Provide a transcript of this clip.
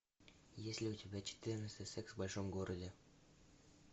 есть ли у тебя четырнадцатый секс в большом городе